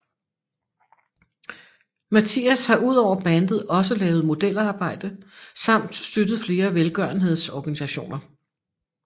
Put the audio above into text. Mattias har udover bandet også lavet modelarbejde samt støttet flere velgørenheds organisationer